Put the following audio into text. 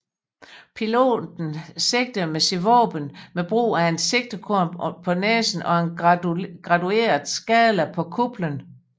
Piloten sigtede sit våben med brug af et sigtekorn på næsen og en gradueret skala på kuplen